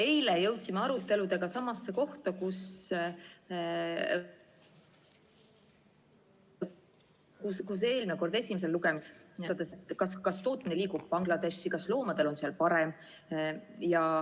Eile jõudsime aruteluga samasse kohta, kuhu eelnõu esimesel lugemisel: kas tootmine liigub nüüd Bangladeshi ja kas loomadel on seal parem.